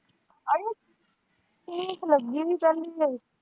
ਅੜੀਏ ਠੀਕ ਲੱਗੀ ਹੀੀ ਪਹਿਲੀ ਵਾਰੀ।